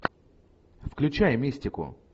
включай мистику